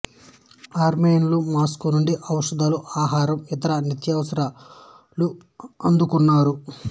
ఆర్మేనియన్లు Moscow నుండి ఔషధాలు ఆహారం ఇతర నిత్యావసరాలు అందుకున్నారు